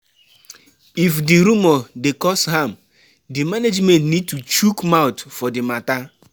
If di rumour dey cause harm, di management need to chook mouth for di matter